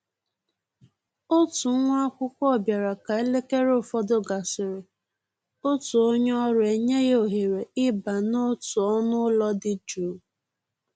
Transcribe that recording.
Òtù nwá ákwụ́kwọ́ bịara ka élékéré ụfọdụ gàsị́rị̀, òtù ónyé ọ́rụ́ enyè yá òhéré ì bà n'òtù ọ́nụ́ ụ́lọ́ dị jụ́ụ́.